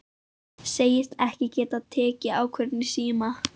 Segist ekki geta tekið ákvörðun í síma.